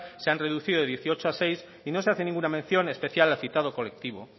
se han reducido de dieciocho a seis y no se hace ninguna mención especial al citado colectivo